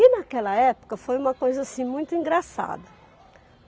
E naquela época foi uma coisa assim, muito engraçada.